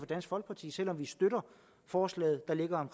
dansk folkeparti selv om vi støtter forslaget